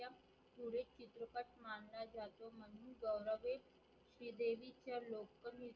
श्रीदेवीच्या local